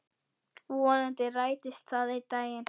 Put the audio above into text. Vonandi rætist það einn daginn.